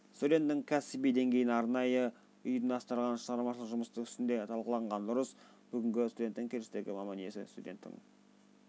студенттің кәсіби деңгейін арнайы ұйымдастырылған шығармашылық жұмыстың үстінде талқылаған дұрыс бүгінгі студент келешектегі маман иесі студенттің